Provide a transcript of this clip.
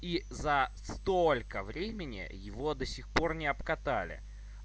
и за столько времени его до сих пор не обкатали